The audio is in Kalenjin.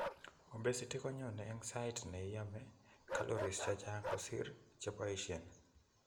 Obesity konyone eng' saait neome calories chechang' kosiir cheboisien